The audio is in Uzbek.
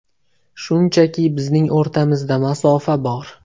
Shunchaki bizning o‘rtamizda masofa bor.